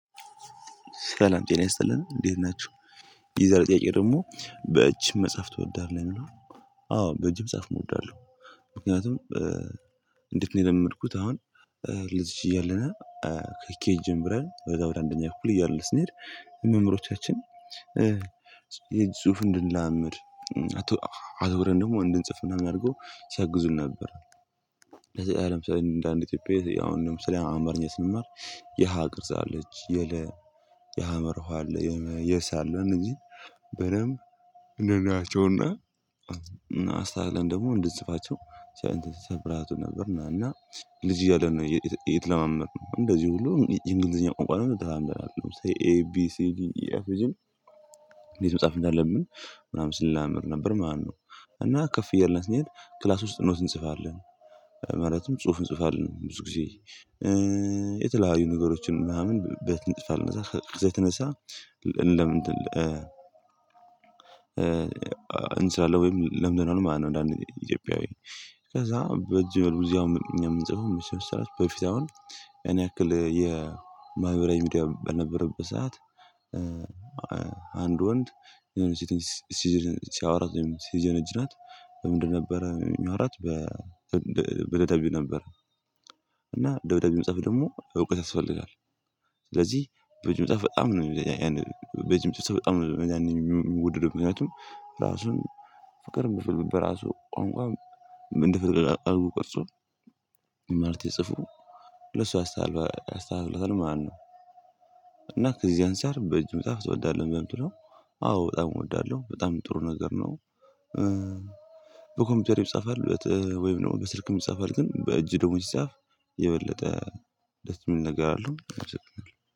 ሰላም ጤና ይስጥልን እንዴት ናችሁ። የዛሬ ጥያቄ ደግሞ በእጅ መጻፍ ትወዳለህ የሚለው? አዎ በእጅ መጻፍ እወዳለሁ። ምክንያቱም እንዴት ነው የለመድኩት አሁን ልጅ እያለና ከኬጅ ጀምረን ወደ ወደ አንደኛ ከፍል እያልን ስንሄድ። መምህሮቻችን ጽሁፉን እንድንለማመድ አዙረን ደግሞ እንድንጽፍ ምናምን አድርጎ ሲያግዙን ነበር። ለምሳሌ እንደ አንድ ኢትዮጵያዊ አሁን ለምሳሌ አማርኛ ስንማር የሃ ቅርጽ አለች የለ። የሃመርውሃ አለ የሰ አለ እነኚህ በደንብ እንደሌላቸውና እና አስተካክለን ደግሞ እንድንጽፋቸው ሲያበረታቱን ነበር። እና ልጅ እያለን ነው የተለማመድነው እንደዚህ ሁሉ የእንግሊዝኛ ቋንቋ ደግሞ ተለማምደናል። ለምሳሌ ኤ ቢ ሲ ዲ ኢ ኤፍ ጅ እንዴት መጻፍ እንዳለብን ምናምን ስንለማመድ ነበር ማለት ነው። እና ከፍ እያልነ ስንሄድ ክላስ ውስጥ ኖት እንጽፋለን። ማለትም ጽሁፍ እንጽፋለን ብዙ ጊዜ የተለያዩ ነገሮችን ምናምን ቤት እንጽፋለን ኧዛ ከዛ የተነሳ። እንስራለን ወይም ለምንድነዋል ማለትነው። እንደ አንድ ኢትዮጵያዊ ከዛ በጅምር ቡዝያውም እኛ የምንጽፈው መቼም ስራች በፊት አሁን ያን ያክል የማህበራዊ ሚዲያ ባልነበረበት ሰዓት። አንድ ወንድ የሆነች ሴትን ሲያወራት ወይም ሲጀነጅናት በምንድን ነበረ የሚያወራት በ በደብዳቤ ነበር። እና ደብዳቤው ሐመጽሐፍ ደግሞ እውቀት ያስፈልጋል። ስለዚህ በእጅ መጽሐፍ በጣም ነው የሚገርም። በእጅ የሚፅፍ ሰው በጣም ነው የሚወደደው ምክንያቱም ራሱን ፍቅር በራሱ ቋንቋ ምን እንደፍትል አልቆ ቅርጹ ማለቴ ጽፎ ለሷ አስታልባ አስታልፏል ማለትነው። እና ከዚህ አንፃር በእጅ መጽሐፍ ትወዳለህ? በእንትኖ አዎ በጣም እወዳለሁ በጣም ጥሩ ነገር ነው። በኮምፒውተር ይጻፋል ወይም ደግሞ በስልክ ይጻፋል ግን በእጅ ደግሞ ሲጻፍ የበለጠ ደስ የሚል ነገር አለው።